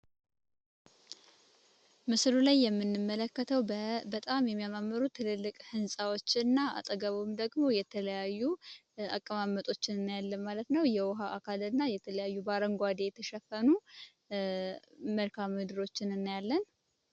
ምስሉ ላይ የምንመለከተዉ በጣም የሚያማምሩ ትልልቅ ህንፃወች እና አጠገቡም ደግሞ የተለያዩ አቀማመጦችን እናያለን ማለት ነዉ ።የዉሀ አካል እና የተለያዩ በአረንጓዴ የተሸፈኑ መልካም ምድሮችን እናያለን።